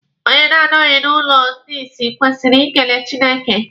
Onye na-anọghị n'ụlọ ndị isi kwesịrị ikele Chineke.